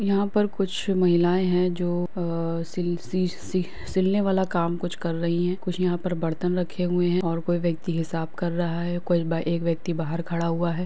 यहाँं पर कुछ महिलायें हैं जो अ सील सी-सिलने वाल काम कुछ कर रही हैं कुछ यहाँं पर बर्तन रखे हुए हैं और कोई व्यक्ति हिसाब कर रहा है एक व्यक्ति बाहर खड़ा हुआ है।